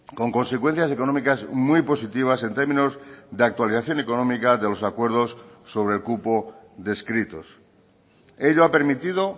con consecuencias económicas muy positivas en términos de actualización económica de los acuerdos sobre el cupo descritos ello ha permitido